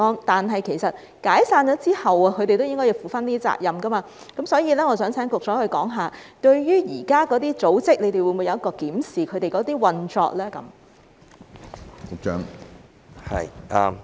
但是，其實解散組織之後，他們都應該要負上責任，所以我想請局長說說，當局會否檢視現時那些組織的運作呢？